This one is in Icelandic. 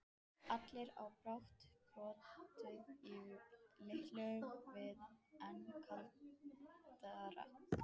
Allir í bátnum blotnuðu og Lillu varð enn kaldara.